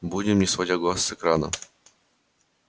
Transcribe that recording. будем не сводя глаз с экрана